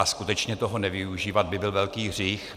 A skutečně toho nevyužívat by byl velký hřích.